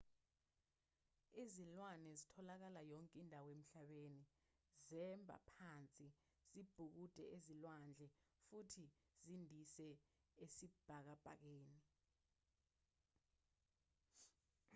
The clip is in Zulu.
izilwane zitholakala yonke indawo emhlabeni zemba phansi zibhukude ezilwandle futhi zindize esibhakabhakeni